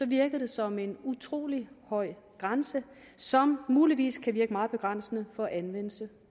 virker det som en utrolig høj grænse som muligvis kan virke meget begrænsende for anvendelse